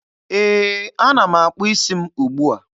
Ee, ana m akpụ isi m ugbua.